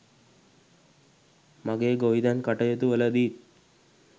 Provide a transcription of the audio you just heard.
මගේ ගොවිතැන් කටයුතු වලදීත්